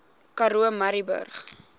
karoo murrayburg